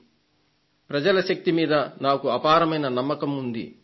దానితో ప్రజల శక్తి మీద నాకు అపారమైన నమ్మకం ఉంది